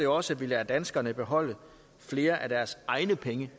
også at vi lader danskerne beholde flere af deres egne penge